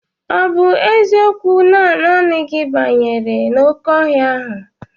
Ọ bụ eziokwu na naanị gị banyere n'oké ọhịa ahụ?